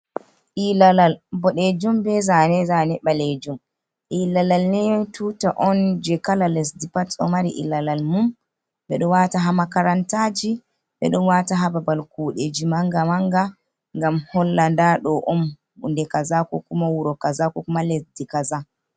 Ilalal boɗejum be zane-zane ɓaleejum. Ilalal ni tuta on je kala lesdi pat ɗo mari ilalal mum. Ɓe ɗo wata ha makarantaji, ɓe ɗon wata ha babal juuɗeji manga-manga, ngam holla nda ɗo on hunde kaza, ko kuma wuro kaza ko kuma lesdi kaza.